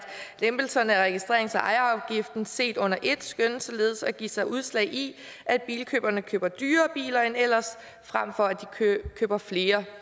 lempelserne af registrerings og ejerafgiften set under ét skønnes således at give sig udslag i at bilkøberne køber dyrere biler end ellers frem for at de køber flere